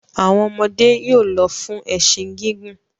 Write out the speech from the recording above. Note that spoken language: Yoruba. Àwọn ọmọdé yóò lọ fún ẹṣin gígùn.